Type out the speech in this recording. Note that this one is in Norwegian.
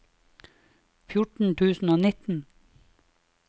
fjorten tusen og nitten